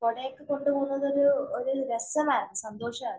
കൊടെയെല്ലാം കൊണ്ട് പോകുന്നത് ഒരു രസമായിരുന്നു. സന്തോഷാരുന്നു.